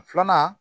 Filanan